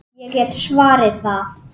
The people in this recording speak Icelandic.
Ég get svarið það!